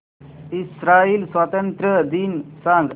Israel स्वातंत्र्य दिन सांग